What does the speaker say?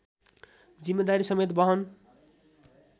जिम्मेदारी समेत वहन